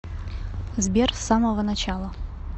сбер с самого начала